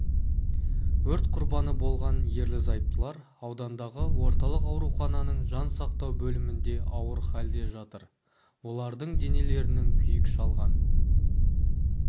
өрт құрбаны болған ерлі-зайыптылар аудандағы орталық аурухананың жансақтау бөлімінде ауыр халде жатыр олардың денелерінің күйік шалған